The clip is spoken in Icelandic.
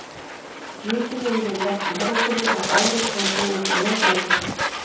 Mikið hefur verið lagt í herrakvöldið þetta árið og er búist við met mætingu.